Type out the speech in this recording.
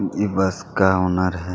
ये बस का ओनर है।